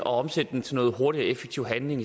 og omsættes til hurtig og effektiv handling